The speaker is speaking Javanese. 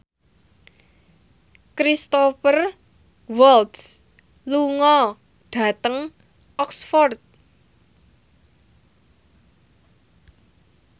Cristhoper Waltz lunga dhateng Oxford